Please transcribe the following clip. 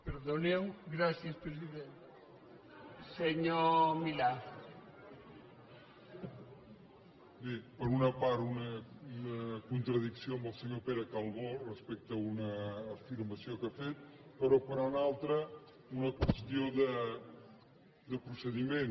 bé per una part una contradicció amb el senyor pere calbó respecte a una afirmació que ha fet però per una altra una qüestió de procediment